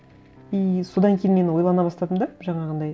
и содан кейін мен ойлана бастадым да жаңағындай